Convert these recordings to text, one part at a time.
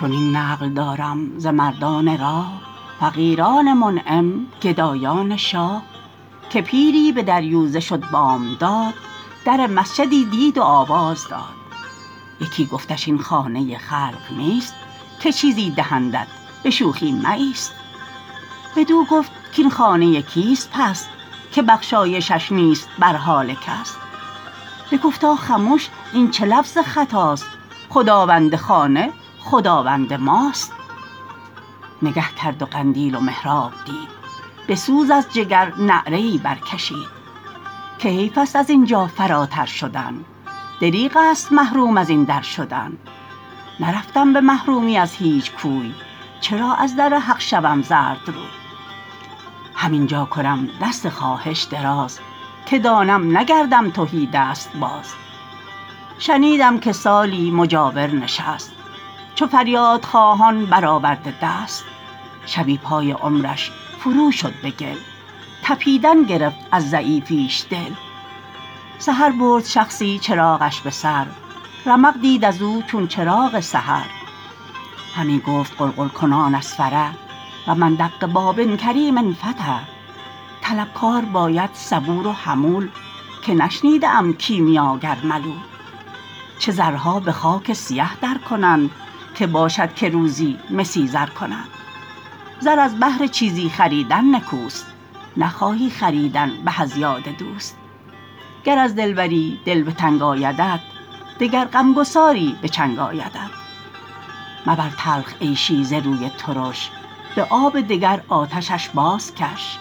چنین نقل دارم ز مردان راه فقیران منعم گدایان شاه که پیری به دریوزه شد بامداد در مسجدی دید و آواز داد یکی گفتش این خانه خلق نیست که چیزی دهندت به شوخی مایست بدو گفت کاین خانه کیست پس که بخشایشش نیست بر حال کس بگفتا خموش این چه لفظ خطاست خداوند خانه خداوند ماست نگه کرد و قندیل و محراب دید به سوز از جگر نعره ای بر کشید که حیف است از اینجا فراتر شدن دریغ است محروم از این در شدن نرفتم به محرومی از هیچ کوی چرا از در حق شوم زردروی هم اینجا کنم دست خواهش دراز که دانم نگردم تهیدست باز شنیدم که سالی مجاور نشست چو فریاد خواهان برآورده دست شبی پای عمرش فرو شد به گل تپیدن گرفت از ضعیفیش دل سحر برد شخصی چراغش به سر رمق دید از او چون چراغ سحر همی گفت غلغل کنان از فرح و من دق باب الکریم انفتح طلبکار باید صبور و حمول که نشنیده ام کیمیاگر ملول چه زرها به خاک سیه در کنند که باشد که روزی مسی زر کنند زر از بهر چیزی خریدن نکوست نخواهی خریدن به از یاد دوست گر از دلبری دل به تنگ آیدت دگر غمگساری به چنگ آیدت مبر تلخ عیشی ز روی ترش به آب دگر آتشش باز کش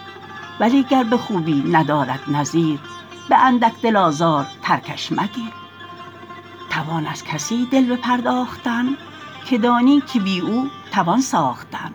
ولی گر به خوبی ندارد نظیر به اندک دل آزار ترکش مگیر توان از کسی دل بپرداختن که دانی که بی او توان ساختن